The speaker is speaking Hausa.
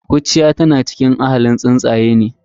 Kurciya tana cikin ahalin tsuntsaye.